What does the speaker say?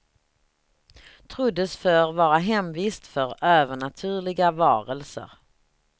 Troddes förr vara hemvist för övernaturliga varelser.